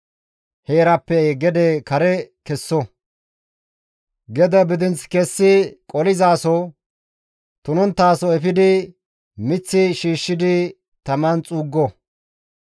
heeraappe gede kare kesso; gede bidinth kessi qolizaaso, tunonttaso efidi miththi shiishshidi taman xuuggo.